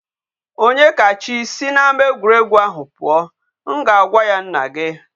Onyekachi si n'ama egwuregwu ahu pụọ! M ga-agwa ya nna gi..